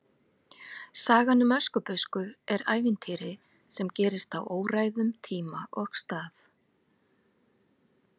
Sagan um Öskubusku er ævintýri sem gerist á óræðum tíma og stað.